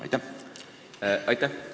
Aitäh!